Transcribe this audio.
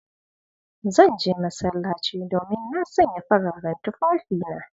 Zan je masallaci, domin na sanya fararen tufafina.